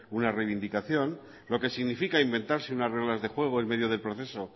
una reivindicación lo que significa inventarse unas reglas de juego en medio del proceso